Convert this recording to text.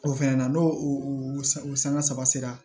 O fɛnɛ na n'o o sanga saba saba sera